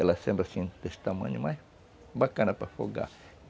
Ela sendo assim, desse tamanho, mas... bacana para afogar.